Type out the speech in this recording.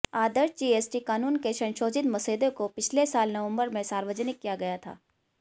आदर्श GST कानून के संशोधित मसौदे को पिछले साल नवंबर में सार्वजनिक किया गया था